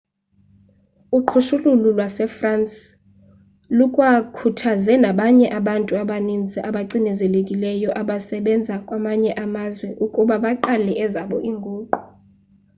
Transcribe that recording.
uqhushululu lwasefrance lukwakhuthaze nabanye abantu abaninzi abacinezelekileyo abasebenza kwamanye amazwe ukuba baqale ezabo iinguqu